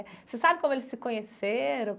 Você sabe como eles se conheceram?